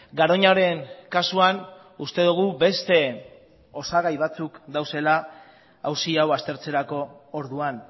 garoñaren kasuan uste dugu beste osagai batzuk daudela auzi hau aztertzerako orduan